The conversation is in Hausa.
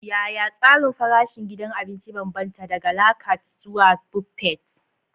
Yaya tsarin farashin gidan abinci ya bambanta, daga la carte zuwa buffet?